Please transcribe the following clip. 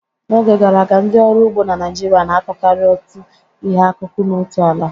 N'oge gara aga, ndị ọrụ ugbo na Naịjirịa na-akụkarị otu ihe akụkụ n'otu ala.